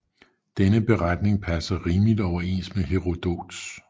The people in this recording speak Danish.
Denne beretning passer rimeligt overens med Herodots